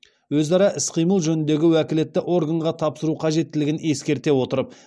өзара іс қимыл жөніндегі уәкілетті органға тапсыру қажеттілігін ескерте отырып